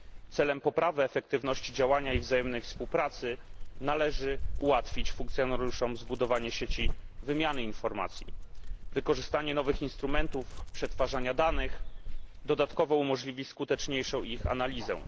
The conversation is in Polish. Celem poprawy efektywności działania i wzajemnej współpracy należy ułatwić funkcjonariuszom budowanie sieci wymiany informacji. Wykorzystanie nowych instrumentów przetwarzania danych dodatkowo umożliwi ich skuteczniejszą analizę.